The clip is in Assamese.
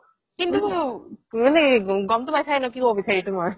কিন্তু গ'মটো পাইছাই কি ক'ব বিচাৰিছো মই